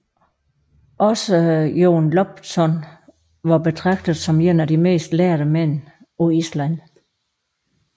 Også Jón Loptsson var betragtet som en af de mest lærde mænd på Island